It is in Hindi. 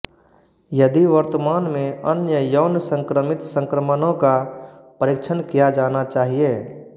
यदि वर्तमान में अन्य यौन संक्रमित संक्रमणों का परीक्षण किया जाना चाहिए